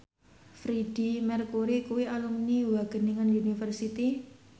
Freedie Mercury kuwi alumni Wageningen University